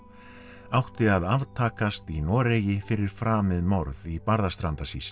átti að í Noregi fyrir framið morð í Barðastrandasýslu